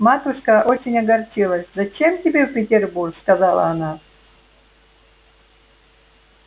матушка очень огорчилась зачем тебе в петербург сказала она